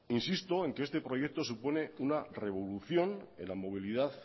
insisto en que este proyecto supone una revolución en la movilidad